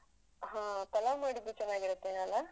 ಹಾ ಪಲಾವ್ ಮಾಡಿದ್ರು ಚೆನ್ನಾಗಿರತ್ತೆನೋ ಅಲಾ?